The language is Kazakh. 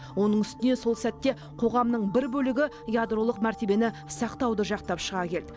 оның үстіне сол сәтте қоғамның бір бөлігі ядролық мәртебені сақтауды жақтап шыға келді